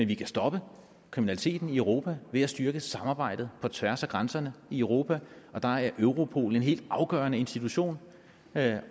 vi kan stoppe kriminaliteten i europa ved at styrke samarbejdet på tværs af grænserne i europa og der er europol en helt afgørende institution med